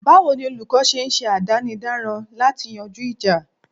Báwo ni olúkó ń ṣe àdánidáran lati yanjú ìjà?